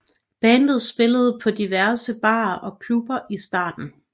Bandet spillede på diverse barer og klubber i starten